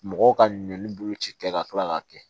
Mɔgɔw ka ɲɔn bolo ci kɛ ka kila k'a kɛ